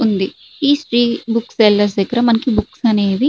ఉంది ఈ book seller దగ్గర మనకి బుక్స్ అనేవి --